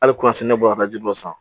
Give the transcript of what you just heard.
Hali ne bɔra ka ji dɔ san